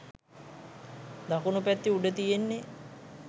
දකුණු පැත්තේ උඩ තියෙන්නේ